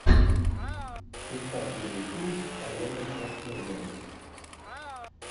искать видеофильм с арнольдом шварценеггером